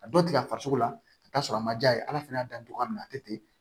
A dɔ tigɛ farisoko la ka t'a sɔrɔ a ma ja ye ala fɛnɛ y'a dan togoya min na a tɛ ten